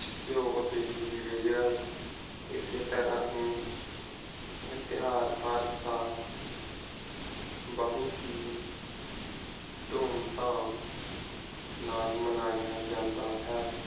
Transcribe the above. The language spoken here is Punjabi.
ਘਿਉ ਦੇ ਦੀਵੇ ਜਗਾਏ ਇਸੇ ਤਰਾਹ ਹੀ। ਇਹ ਤਿਯੋਹਾਰ ਹਰ ਸਾਲ ਬਹੁਤ ਹੀ ਧੂਮਧਾਮ ਨਾਲ ਮਨਾਇਆ ਜਾਂਦਾ ਹੈ।